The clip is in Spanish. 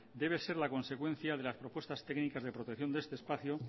debe ser la consecuencia de las propuestas técnicas de protección de este espacio